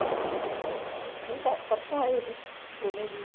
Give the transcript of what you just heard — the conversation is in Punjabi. ਨਹੀਂ ਪਰ ਪਰਸੋਂ ਆਏ ਸੀ ਦੋਵੇਂ ਜੀਅ